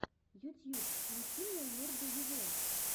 ютьюб включи мне лорда вево